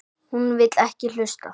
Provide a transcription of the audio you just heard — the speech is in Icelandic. Hún vill ekki hlusta.